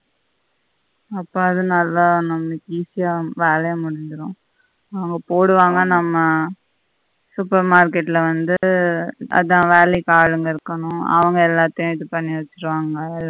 அப்பாடா நல்ல easy அ வேலையும் முடிஞ்சிடும் அவங்க போடுவாங்க நம்ம super market ல வந்து அதா வேளைக்கு ஆளுங்க இருக்கணும் அவங்க எல்லாத்தையும் இதுபண்ணி வெச்சிடுவாங்க எல்லாத்தையும்